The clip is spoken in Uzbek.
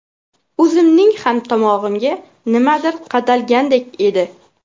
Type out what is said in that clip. O‘zimning ham tomog‘imga nimadir qadalgandek edi.